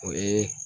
O ye